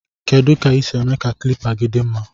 Kedu ka isi eme ka klipa gi di mma.